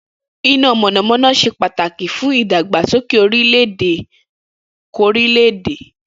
Iná mònàmóná se pàtàkí fún ìdàgbàsókè orò ajé orílè-èdè k'órílè-èdè